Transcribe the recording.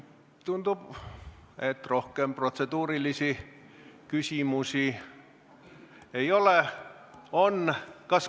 Tundub, et rohkem protseduurilisi küsimusi ei ole.